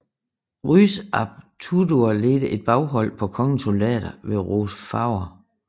Rhys ap Tudur ledte et baghold på kongens soldater ved Rhos Fawr